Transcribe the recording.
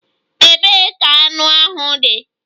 Ebee ka anụ ahụ dị?